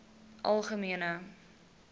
algemene